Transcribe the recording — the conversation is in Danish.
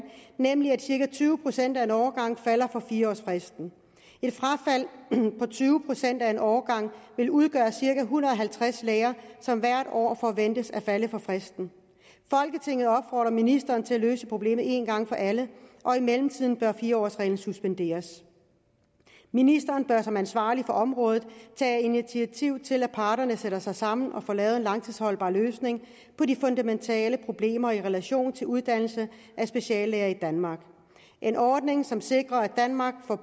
nemlig at cirka tyve procent af en årgang falder for fire årsfristen et frafald på tyve procent af en årgang vil udgøre cirka en hundrede og halvtreds læger som hvert år forventes at falde for fristen folketinget opfordrer ministeren til at løse problemet én gang for alle og i mellemtiden bør fire årsreglen suspenderes ministeren bør som ansvarlig for området tage initiativ til at parterne sætter sig sammen og får lavet en langtidsholdbar løsning på de fundamentale problemer i relation til uddannelse af speciallæger i danmark en ordning som sikrer at danmark